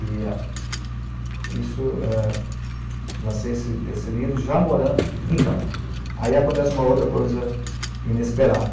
E a... isso é... lancei esse esse livro já morando... Então, aí acontece uma outra coisa inesperada.